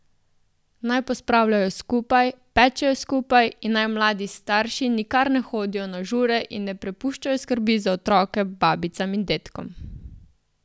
Naj pospravljajo skupaj, pečejo skupaj in naj mladi starši nikar ne hodijo na žure in ne prepuščajo skrbi za otroke babicam in dedkom.